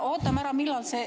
Või ootame ära, millal see ...